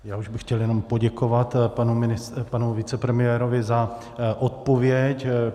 Já už bych chtěl jenom poděkovat panu vicepremiérovi za odpověď.